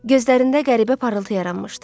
Gözlərində qəribə parıltı yaranmışdı.